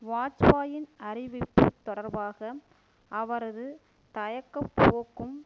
வாஜ்பாயின் அறிவிப்பு தொடர்பாக அவரது தயக்கப்போக்கும்